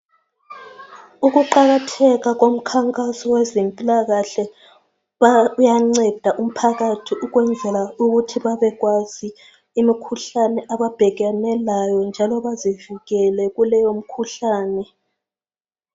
Ukuqakatheka komkhankaso wezempilakahle uyanceda umphakathi ukwenzela ukuthi babekwazi imikhuhlane ababhekane layo njalo bazivikele kuleyo mkhuhlane.